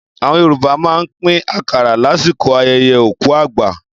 Àwọn Yorùbá máa ń pín àkàrà lásìkò ayẹyẹ òkú àgbà.